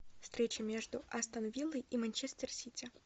встреча между астон виллой и манчестер сити